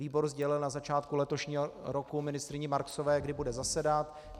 Výbor sdělil na začátku letošního roku ministryni Marksové, kdy bude zasedat.